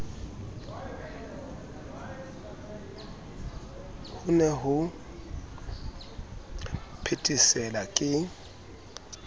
ho ne ho phethesela ke